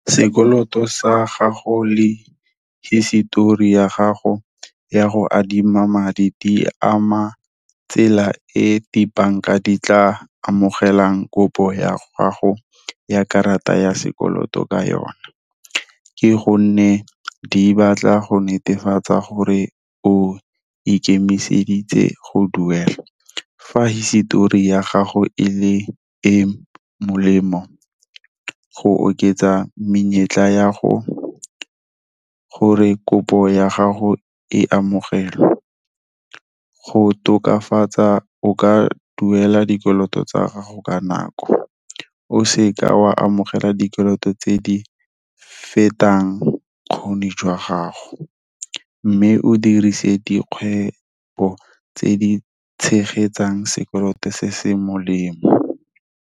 Sekoloto sa gago, le hisetori ya gago, ya go adima madi di ama tsela e di banka di tla amogelang kopo ya gago ya karata ya sekoloto ka yona. Ke gonne, di batla go netefatsa gore o ikemiseditse go duela, fa hisetori ya gago e le e molemo, go oketsa menyetla ya gago, gore kopo ya gago e amogelwe, go tokafatsa, o ka duela dikoloto tsa gago ka nako. O seka wa amogela dikoloto tse di fetang bokgoni jwa gago, mme o dirise dikgwebo tse di tshegetsang sekoloto se se molemo.